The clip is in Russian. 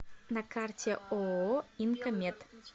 на карте ооо инко мед